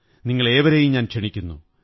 നിങ്ങളേവരെയും ഞാൻ ക്ഷണിക്കുന്നു